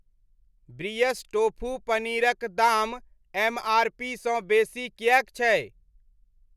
ब्रियस tofu paneer क दाम MRP सँ बेसी किएक छै?